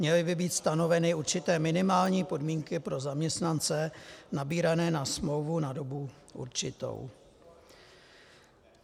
Měly by být stanoveny určité minimální podmínky pro zaměstnance nabírané na smlouvu na dobu určitou.